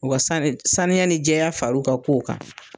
U ka sani saniya ni jɛya far'u ka kow kan.